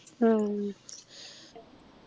ഉം